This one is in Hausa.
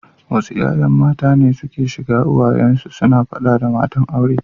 Wasu ’ya’yan mata ne suke shiga uwayen su suna fada da matan aure.